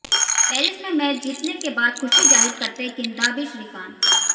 Paris में match जीतने के बाद खुशी जाहिर करते किदांबी श्रीकांत